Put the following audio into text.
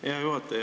Hea juhataja!